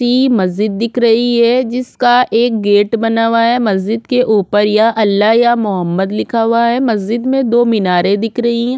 इ मस्जिद दिख रही है जिसका एक गेट बना हुआ है मस्जिद के ऊपर या अल्लाह या मोहम्मद लिखा हुआ है मस्जिद में दो मीनारे दिख रही हैं।